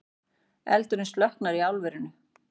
Eldurinn slökktur í álverinu